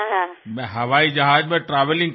মই বিমানেৰে যাত্ৰা কৰি আছো